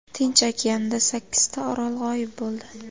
Tinch okeanida sakkizta orol g‘oyib bo‘ldi.